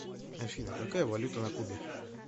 афина какая валюта на кубе